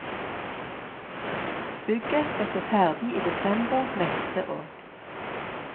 Bygget skal stå ferdig i desember neste år.